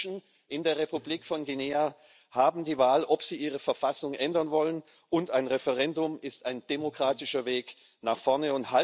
Die Menschen in der Republik von Guinea haben die Wahl, ob sie ihre Verfassung ändern wollen, und ein Referendum ist ein demokratischer Weg nach vorne.